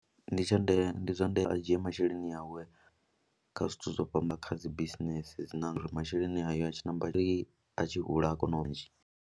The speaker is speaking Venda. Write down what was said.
Ndi tsha ndeme, ndi zwa ndeme a dzhie masheleni awe kha zwithu zwo fhamba kha dzi bisinese dzi na uri masheleni hayo a tshi namba ri a tshi hula a kona u ntsha.